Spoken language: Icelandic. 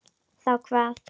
Þá hvað?